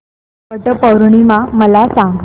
वट पौर्णिमा मला सांग